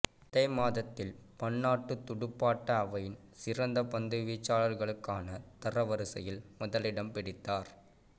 அதே மாதத்தில் பன்னாட்டுத் துடுப்பாட்ட அவையின் சிறந்த பந்து வீச்சாளர்களுக்கான தரவரிசையில் முதலிடம் பிடித்தார்